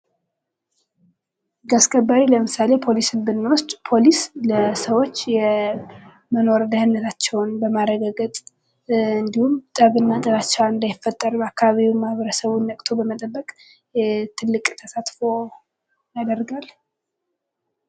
ህግ አስከባሪ። ለምሳሌ ፖሊስን ብንወስድ ለሰዎች የመኖር ደህንነትዐቸውን ለማረጋገጥ እንዲሁም ጠብና ጥላቻ እንዳይፈጠር በአካባቢው ማህበረሰብ ነቅቶ በመጠበቅ ትልቅ ተሳትፎ ያደርጋል።